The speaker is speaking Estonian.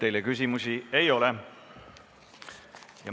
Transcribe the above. Teile küsimusi ei ole.